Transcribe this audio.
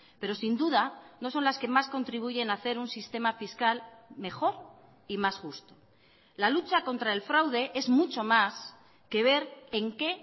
pero sin duda no son las que más contribuyen a hacer un sistema fiscal mejor y más justo la lucha contra el fraude es mucho más que ver en qué